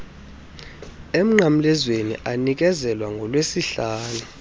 emnqamlezweni anikezelwa ngolwesihlanu